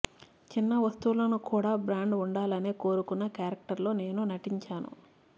చిన్న వస్తువులను క్కూడా బ్రాండ్ ఉండాలనే కోరుకున్న క్యారెక్టర్ లో నేను నటించాను